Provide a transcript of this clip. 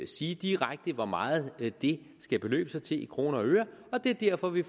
sige direkte hvor meget det skal beløbe sig til i kroner og øre og det er derfor vi